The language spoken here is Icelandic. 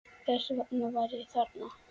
Þess vegna var ég þarna.